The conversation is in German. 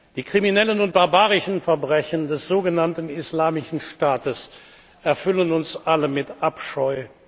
Die kriminellen und barbarischen Verbrechen des sogenannten Islamischen Staates erfüllen uns alle mit Abscheu.